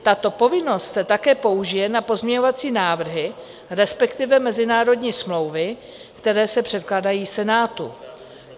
Tato povinnost se také použije na pozměňovací návrhy, respektive mezinárodní smlouvy, které se předkládají Senátu.